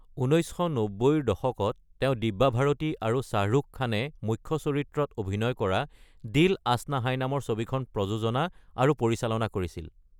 ১৯৯০ৰ দশকত, তেওঁ দিব্যা ভাৰতী আৰু শ্বাহৰুখ খানে মুখ্য চৰিত্ৰত অভিনয় কৰা দিল আশ্না হায় নামৰ ছবিখন প্ৰযোজনা আৰু পৰিচালনা কৰিছিল।